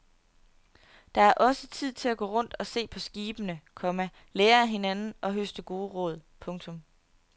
Der er også tid til at gå rundt og se på skibene, komma lære af hinanden og høste gode råd. punktum